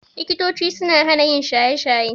Likitochi suna hana yin shaye-shaye.